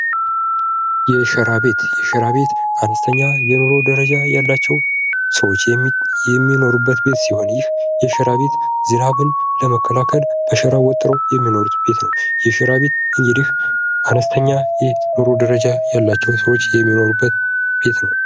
የሸራ ቤት ፦ የሸራ ቤት አነስተኛ የኑሮ ደረጃ ያላቸው ሰዎች የሚኖሩበት ቤት ሲሆን ይህ የሸራ ቤት ዝናብን ለመከላከል በሸራ ወጥረው የሚኖሩት ቤት ነው ። የሸራ ቤት እንግዲህ አነስተኛ የኑሮ ደረጃ ያላቸው ሰዎች የሚኖሩበት ቤት ነው ።